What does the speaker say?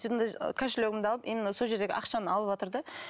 кошелегімді алып именно сол жердегі ақшаны алыватыр да